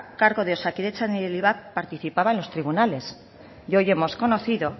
cargo de osakidetza ni del ivap participaba en los tribunales y hoy hemos conocido